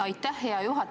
Aitäh, hea juhataja!